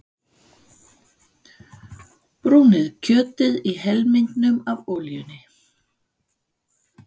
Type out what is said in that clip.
Brúnið kjötið í helmingnum af olíunni.